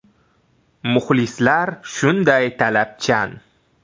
Muxlislar shunday talabchan.